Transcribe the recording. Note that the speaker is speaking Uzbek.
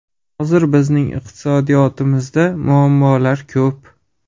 Hozir bizning iqtisodiyotimizda muammolar ko‘p.